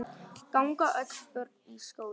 Ganga öll börn í skóla.